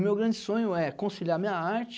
O meu grande sonho é conciliar a minha arte